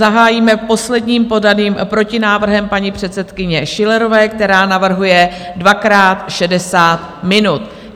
Zahájíme posledním podaným protinávrhem paní předsedkyně Schillerové, která navrhuje dvakrát 60 minut.